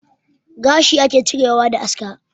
Gashi ake cirewa da aska